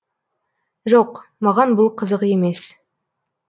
жоқ маған бұл қызық емес